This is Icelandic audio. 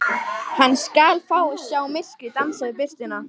Hann skal fá að sjá myrkrið dansa við birtuna.